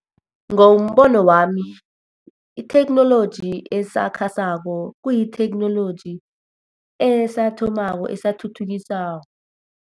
Ngombono wami, itheknoloji esakhasako kuyitheknoloji esathomako, esathuthukiswako.